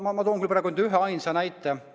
Ma toon praegu üheainsa näite.